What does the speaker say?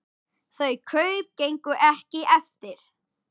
Þau kaup gengu ekki eftir.